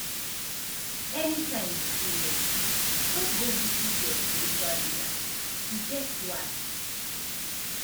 anytime you feel lost just go visit your spiritual leader e get why